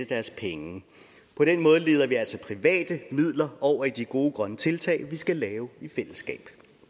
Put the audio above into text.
deres penge på den måde leder vi altså private midler over i de gode grønne tiltag vi skal lave i fællesskab